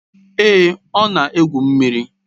Èé, ọ na-egwu mmiri.